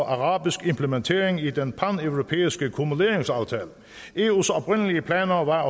og arabisk implementering i den her paneuropæiske kumulationsaftale eus oprindelige planer var at